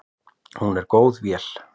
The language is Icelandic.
Hún er góð vél.